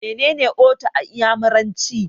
Mene ne 'Otu' a iyamuranci?